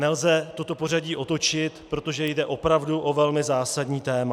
Nelze toto pořadí otočit, protože jde opravdu o velmi zásadní téma.